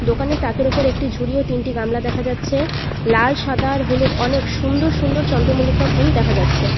দোকানে তাকের উপর একটি ঝুড়ি ও তিনটি গামলা দেখা যাচ্ছে লাল সাদা আর হলুদ অনেক সুন্দর সুন্দর চন্দ্রমল্লিকা ফুল দেখা যাচ্ছে।